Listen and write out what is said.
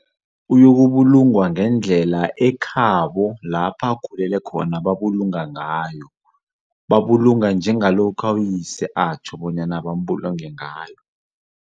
Uyokubulungwa ngendlela ekhabo lapha akhulele khona babulunga ngayo, babulunga njengalokha uyise atjho bona bambulunge ngayo.